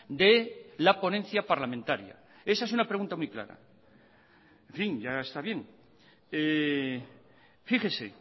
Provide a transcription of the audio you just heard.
de la ponencia parlamentaria esa es una pregunta muy clara en fin ya está bien fíjese